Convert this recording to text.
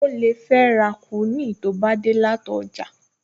O lè fẹ́ ra kúíìnì tó bá dé láti ọjà